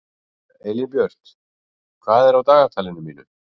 Elínbjört, hvað er á dagatalinu mínu í dag?